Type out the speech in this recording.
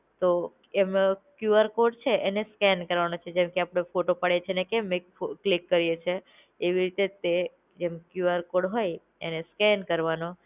તો એમનો QR code છે એને સ્કેન કરવાનો છે જેમ કે અપડે ફોટો પાડીયે છે કેમ એક ક્લિક કરીયે છે, એવી રીતે જ એમ ક્યુઆર કોડ હોય એને સ્કેન કરવાનો